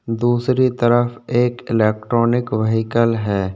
दूसरी तरफ एक इलेक्ट्रॉनिक व्हीकल है।